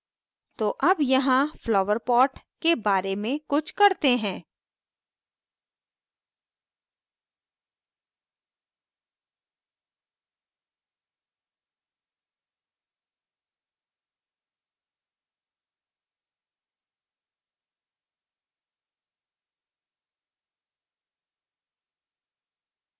तो अब यहाँ flower pot के बारे में कुछ करते हैं